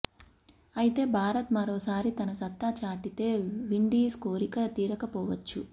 అయితే భారత్ మరోసారి తన సత్తా చాటితే విండీస్ కోరిక తీరకపోవచ్చు